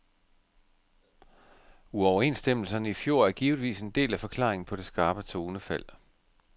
Uoverenstemmelserne i fjor er givetvis en del af forklaringen på det skarpe tonefald.